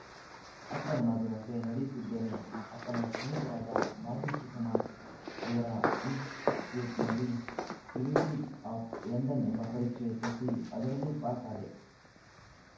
ಅಪ್ಪನ ಮಾತಿನಂತೆ ನಡೆಯುತ್ತಿದ್ದೇನೆ ಅಪ್ಪನ ಸ್ನೇಹಿತರಾದ ಬಾಬೂ ಸುಕುಮಾರ್‌ ಇವರ ಇನ್ಸಟಿಟ್ಯೂಟ್‌ನಲ್ಲಿ ಟ್ರಿನಿಟಿ ಆಫ್‌ ಲಂಡನ್‌ ಎಂಬ ಪರೀಕ್ಷೆ ಕಟ್ಟಿಅದರಲ್ಲೂ ಪಾಸ್‌ ಆದೆ